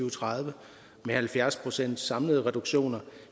og tredive med halvfjerds pcts samlede reduktioner